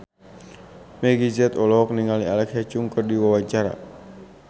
Meggie Z olohok ningali Alexa Chung keur diwawancara